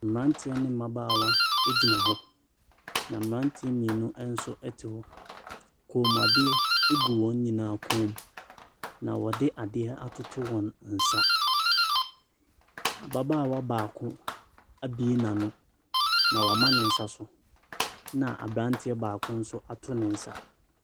Mmeranteɛ no mmabaawa gyina hɔ, na mmeranteɛ mmienu nso te hɔ. Kɔnmuadeɛ gu wɔn nyinaa kɔn mu ɛna wɔde adeɛ atoto wɔn nsa. Ababaawa baako abue n'ano, na wama ne nsa so, ɛna aberanteɛ baako nso ato ne nsa.